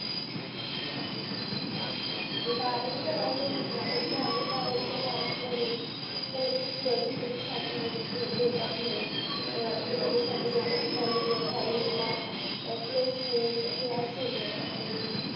मग बारावी झाल्यानंतर त्याच्या दहावी बारावीच्या mark वरून त्याला त्याच्या पुढं degree साठी वगैरे देतात loan. मग आता degree साठी जर त्याच्या college college ला जर placement हे असेल ना आणि